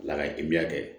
Ala ka kɛ